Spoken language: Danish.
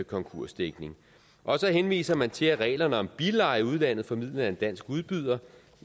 konkursdækning og så henviser man til at reglerne om billeje i udlandet formidlet af en dansk udbyder